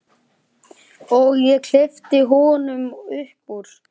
Og ég kippi honum upp úr.